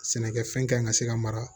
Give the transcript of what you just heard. Sɛnɛkɛfɛn kan ɲi ka se ka mara